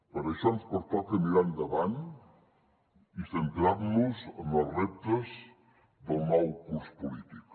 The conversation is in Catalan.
per això ens pertoca mirar endavant i centrar nos en els reptes del nou curs polític